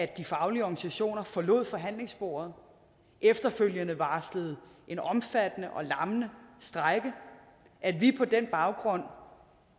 de faglige organisationer forlod forhandlingsbordet efterfølgende varslede en omfattende og lammende strejke at vi på den baggrund